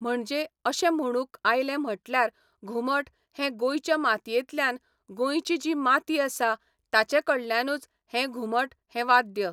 म्हणचे अशें म्हणूंक आयलें म्हटल्यार घुमट हें गोंयच्या मातयेंतल्यान, गोंयची जी माती आसा, ताचे कडल्यानूच हें घुमट हें वाद्य.